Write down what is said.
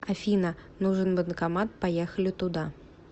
афина нужен банкомат поехали туда